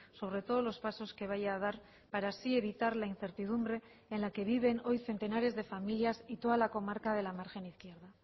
sobre todos los pasos que vaya a dar para así evitar la incertidumbre en la que viven hoy centenares de familias y toda la comarca de la margen izquierda